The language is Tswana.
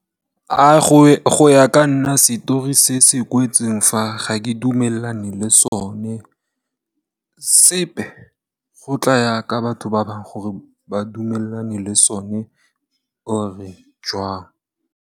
Go ya ka nna setori se se kwetseng fa ga ke dumelane le sone sepe go tla ya ka batho ba bangwe gore ba dumelane le sone or jwang.